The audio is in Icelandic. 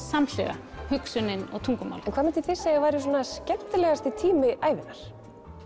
samhliða hugsunin og tungumálið en hvað mynduð þið segja að væri svona skemmtilegasti tími ævinnar